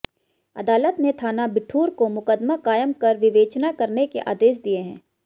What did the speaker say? अदालत ने थाना बिठूर को मुकदमा कायम कर विवेचना करने के आदेश दिए हैं